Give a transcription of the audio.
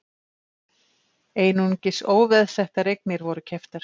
Einungis óveðsettar eignir voru keyptar